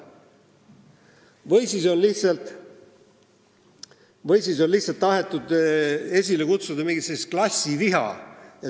Või kas on lihtsalt tahetud esile kutsuda mingisugust klassiviha?